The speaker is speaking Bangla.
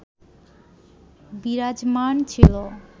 বিরাজমান ছিল